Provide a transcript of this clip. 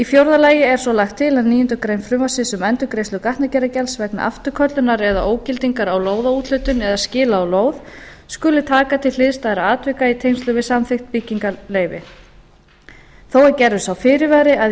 fjórða lagt er til að níundu grein frumvarpsins um endurgreiðslu gatnagerðargjalds vegna afturköllunar eða ógildingar á lóðaúthlutun eða skila á lóð skuli taka til hliðstæðra atvika í tengslum við samþykkt byggingarleyfis þó er gerður sá fyrirvari að í